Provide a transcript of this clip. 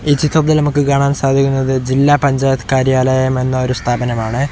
ഈ ചിത്രത്തിൽ നമുക്ക് കാണാൻ സാധിക്കുന്നത് ജില്ലാ പഞ്ചായത്ത് കാര്യാലയം എന്ന ഒരു സ്ഥാപനമാണ്.